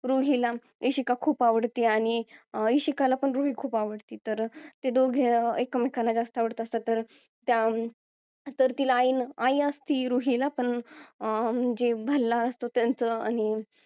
रुहीला इशिका खूप आवडती आणि इशिकाला पण रुही खूप आवडती तर ते दोघे एकमेकांना जास्त आवडत असतात तर त्या तर तिला अं तिला आई असती रुही ला पण भांडणं असतो त्याचं आणि